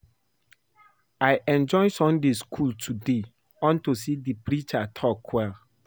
I enjoy Sunday school today unto say the preacher talk well